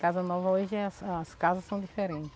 Casa nova hoje é, as as casas são diferentes.